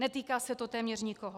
Netýká se to téměř nikoho.